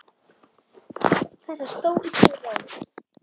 Þessa stóísku ró.